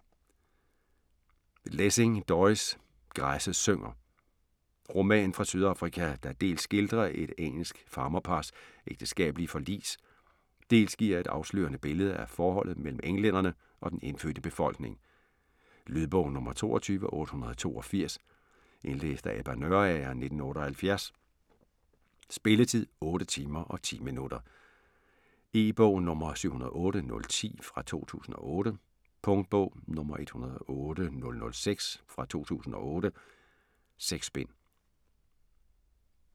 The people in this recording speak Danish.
Lessing, Doris: Græsset synger Roman fra Sydafrika, der dels skildrer et engelsk farmerpars ægteskabelige forlis, dels giver et afslørende billede af forholdet mellem englænderne og den indfødte befolkning. Lydbog 22882 Indlæst af Ebba Nørager, 1978. Spilletid: 8 timer, 10 minutter. E-bog 708010 2008. Punktbog 108006 2008. 6 bind.